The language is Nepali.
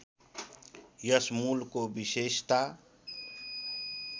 यस मूलको विशेषता